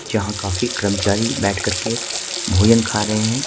जहां काफी कर्मचारी बैठकर के भोजन खा रहे हैं।